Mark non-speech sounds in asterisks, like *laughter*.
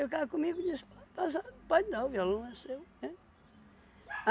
E o cara comigo disse, *unintelligible* pode dar, o violão é seu, né?